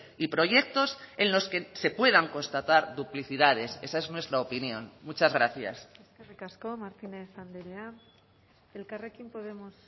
y proyectos en los que se puedan constatar duplicidades esa es nuestra opinión muchas gracias eskerrik asko martínez andrea elkarrekin podemos